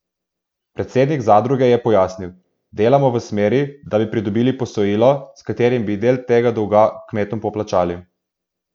Predsednik zadruge je pojasnil: "Delamo v smeri, da bi pridobili posojilo, s katerim bi del tega dolga kmetom poplačali.